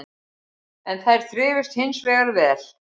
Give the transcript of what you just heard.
En þær þrifust hins vegar vel